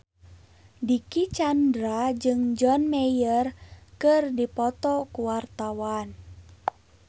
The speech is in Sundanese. Dicky Chandra jeung John Mayer keur dipoto ku wartawan